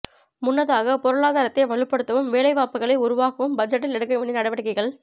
முன்னதாக பொருளாதாரத்தை வலுப்படுத்தவும் வேலை வாய்ப்புகளை உருவாக்கவும் பட்ஜெட்டில் எடுக்க வேண்டிய நடவடிக்கைகள்